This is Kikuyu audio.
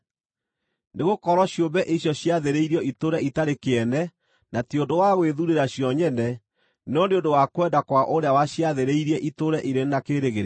Nĩgũkorwo ciũmbe icio ciathĩrĩirio itũũre itarĩ kĩene na ti ũndũ wa gwĩthuurĩra cio nyene, no nĩ ũndũ wa kwenda kwa ũrĩa waciathĩrĩirie itũũre irĩ na kĩĩrĩgĩrĩro,